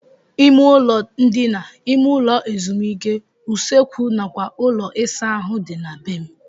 Ime ụlọ ndina, ime ụlọ ezumike, usekwu nakwa ụlọ ịsa ahụ dị na be m.